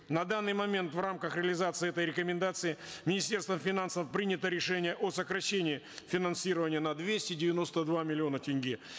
на данный момент в рамках реализации этой рекомендации министерством финансов принято решение о сокращении финансирования на двести девяносто два миллиона тенге